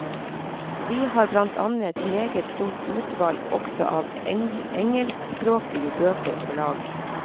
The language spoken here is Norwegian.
Vi har blant annet meget stort utvalg også av engelskspråklige bøker på lager.